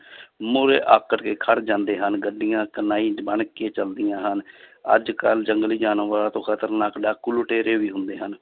ਮੂਹਰੇ ਆਕੜ ਕੇ ਖੜ ਜਾਂਦੇ ਹਨ ਗੱਡੀਆਂ ਬਣ ਕੇ ਚੱਲਦੀਆਂ ਹਨ ਅੱਜ ਕੱਲ੍ਹ ਜੰਗਲੀ ਜਾਨਵਰਾਂ ਤੋਂ ਖਤਰਨਾਕ ਡਾਕੂ ਲੁਟੇਰੇ ਵੀ ਹੁੰਦੇ ਹਨ,